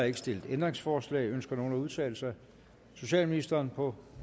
ikke stillet ændringsforslag ønsker nogen at udtale sig socialministeren på